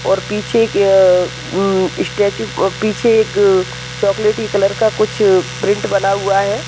और पीछे एक अह एम स्टेच्यु पीछे एक अ चोकलेटी कलर का कुछ प्रिंट बना हुआ है।